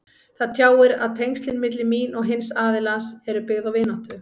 Það tjáir að tengslin milli mín og hins aðilans eru byggð á vináttu.